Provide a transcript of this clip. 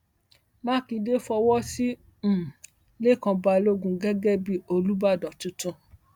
mákindé fọwọ sí um lẹkàn balógun gẹgẹ bíi olùbàdàn tuntun